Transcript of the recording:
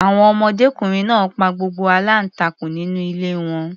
Àwọn ọmọdékùnrin náà pa gbogbo aláǹtakùn nínú ilé wọn.